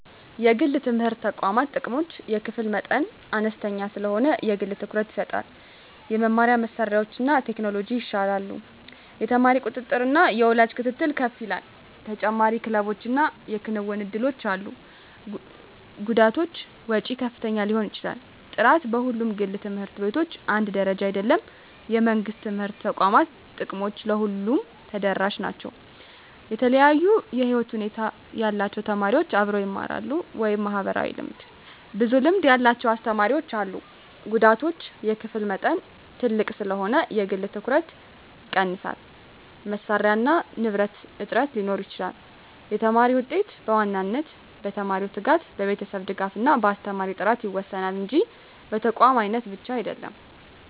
1) የግል የትምህርት ተቋማት ጥቅሞች የክፍል መጠን አነስተኛ ስለሆነ የግል ትኩረት ይሰጣል የመማሪያ መሳሪያዎችና ቴክኖሎጂ ይሻላሉ የተማሪ ቁጥጥርና የወላጅ ክትትል ከፍ ይላል ተጨማሪ ክለቦችና የክንውን እድሎች አሉ ጉዳቶች ወጪ ከፍተኛ ሊሆን ይችላል ጥራት በሁሉም ግል ት/ቤቶች አንድ ደረጃ አይደለም የመንግሥት የትምህርት ተቋማት ጥቅሞች ለሁሉም ተደራሽ ናቸው የተለያዩ የህይወት ሁኔታ ያላቸው ተማሪዎች አብረው ይማራሉ (ማህበራዊ ልምድ) ብዙ ልምድ ያላቸው አስተማሪዎች አሉ ጉዳቶች የክፍል መጠን ትልቅ ስለሆነ የግል ትኩረት ይቀንሳል መሳሪያና ንብረት እጥረት ሊኖር ይችላል የተማሪ ውጤት በዋናነት በተማሪው ትጋት፣ በቤተሰብ ድጋፍ እና በአስተማሪ ጥራት ይወሰናል እንጂ በተቋም አይነት ብቻ አይደለም።